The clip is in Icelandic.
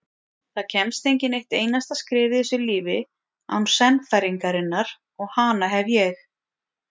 Það kemst enginn eitt einasta skref í þessu lífi án sannfæringarinnar og hana hef ég.